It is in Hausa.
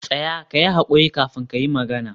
tsaya! kayi hakuri kafin kayi magana.